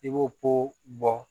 I b'o ko bɔ